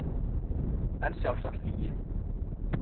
En sjálfsagt lygi.